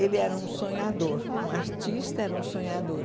Ele era um sonhador, um artista era um sonhador.